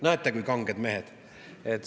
Näete, kui kanged mehed!